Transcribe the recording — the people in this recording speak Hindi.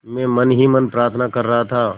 मैं मन ही मन प्रार्थना कर रहा था